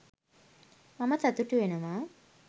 මම සතුටු වෙනවා.